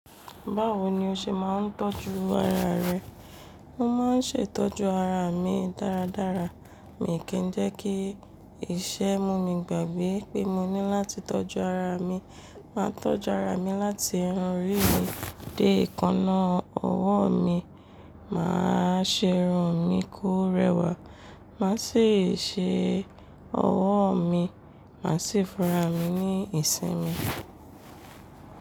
Báwo ni o ṣe máa ń tọ́jú ara rẹ? Mo máa ń ṣe ìtọ́jú ara mi dáradára, mi ò kí ń jẹ́ kí iṣẹ́ mú mi gbàgbé pé mo ní láti tọ́jú ara mi. Máa tọ́jú ara mi láti irun orí mi dé èékánná ọwọ́ mi. Máa ṣe irun mi kó rẹwà, màá sì ṣe ọwọ́ mi, màá sì funra mi ní ìsinmi.